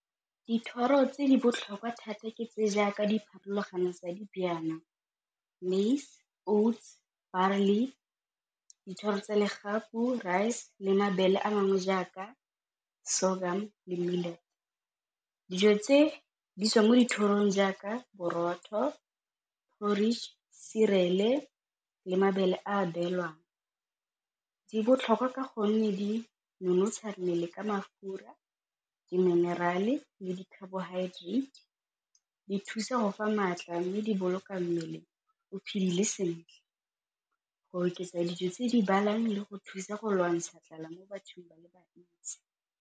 Dithoro tse di botlhokwa thata ke tse jaaka dipharologano tsa , maize, oats, . Dithoro tsa legapu, rice le mabele a mangwe jaaka sorghum . Dijo tse di tswang mo dithorong jaaka borotho, porrige, cereal-e le mabele a beelwang, di botlhokwa ka gonne di nonotsha mmele ka mafura diminerale le di-carbohydrates, di thusa go fa maatla mme di boloka mmele o phelile sentle go oketsa dijo tse di le go thusa go lwantsha tlala mo bathong ba le bantsi.